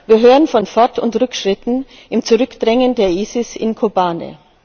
Wir hören von Fort und Rückschritten im Zurückdrängen der ISIS in Kobane.